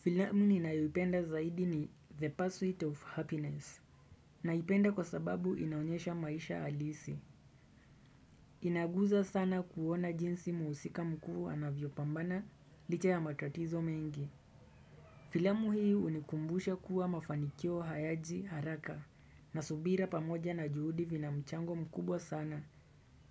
Filamu ninayoipenda zaidi ni The Pursuit of Happiness Naipenda kwa sababu inaonyesha maisha halisi Inaguza sana kuona jinsi muhusika mkuu anavyopambana licha ya matatizo mengi Filamu hii hunikumbusha kuwa mafanikio hayaji haraka na subira pamoja na juhudi vina mchango mkubwa sana